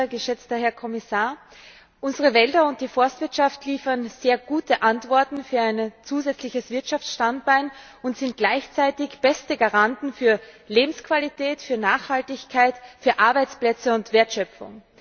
Geschätzter Herr Kommissar! Unsere Wälder und die Forstwirtschaft liefern sehr gute Antworten für ein zusätzliches Wirtschaftsstandbein und sind gleichzeitig beste Garanten für Lebensqualität, für Nachhaltigkeit, für Arbeitsplätze und Wertschöpfung.